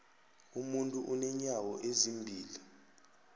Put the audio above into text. umuntu unenyawo ezimbili